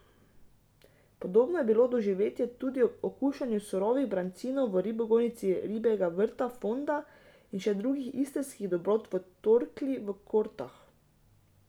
Podobno je bilo doživetje tudi ob okušanju surovih brancinov v ribogojnici Ribjega vrta Fonda in še drugih istrskih dobrot v Torkli v Kortah.